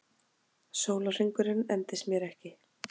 Sólarhringurinn endist mér ekki.